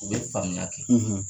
U be faamuya kɛ